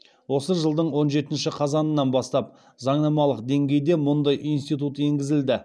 осы жылдың он жетінші қазанынан бастап заңнамалық деңгейде мұндай институт енгізілді